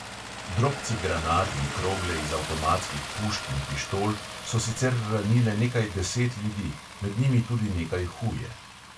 Drobci granat in krogle iz avtomatskih pušk in pištol so sicer ranile nekaj deset ljudi, med njimi nekaj tudi huje.